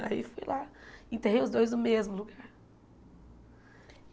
Aí fui lá, enterrei os dois no mesmo lugar.